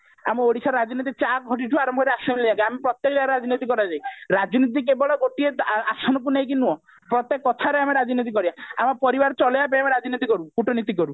ଆମ ଓଡିଶାର ରାଜନୀତି ଚା ଖଟିଠୁ ଆରମ୍ଭ କରି assembly ଯାଏଁ ଆମ ପ୍ରତ୍ଯେକ ଜାଗାରେ ରାଜନୀତି କରାଯାଏ ରାଜନୀତି କେବଳ ଗୋଟିଏ ଆସନକୁ ନେଇକି ନୁହଁ ପ୍ରତ୍ଯେକ କଥାରେ ଆମେ ରାଜନୀତି କରିବା ଆମ ପରିବାର ଚଲେଇବା ପାଇଁ ଆମେ ରାଜନୀତି କରୁ କୂଟନୀତି କରୁ